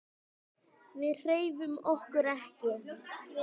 Við hreyfum okkur ekki.